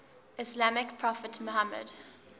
islamic prophet muhammad